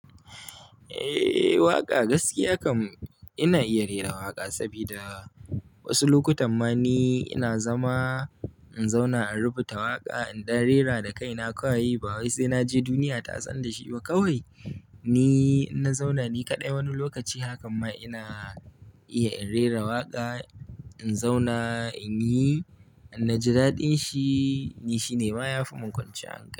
Eh waƙa gaskiya kam ina iya rera waƙa saboda wasu lokutan ma ni ina zama in zauna in rubuta waƙa, idan rera da kai na kawai ba wai sai naje duniya ta san da shi ba kawai. Ni in na zauna ni kaɗai wani lokaci haka ma ina iya in rera waƙa. In zauna in yi, naji dadin shi ni shine ma ya fi mun kwance an kai.